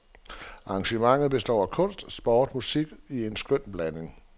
Arrangementet består af kunst, sport og musik i en skøn blanding.